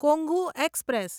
Kongu express